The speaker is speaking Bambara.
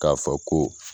K'a fɔ ko